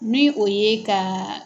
Min o ye ka